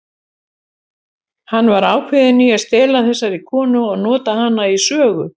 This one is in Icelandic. Hann var ákveðinn í að stela þessari konu og nota hana í sögu.